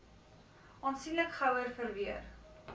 aansienlik gouer verweer